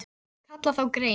Og ég myndi kalla þá grein